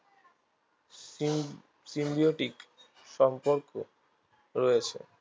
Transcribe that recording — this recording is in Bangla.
সিন্ symbiotic সম্পর্ক রয়েছে